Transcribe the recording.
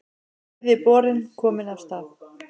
Þriðji borinn kominn af stað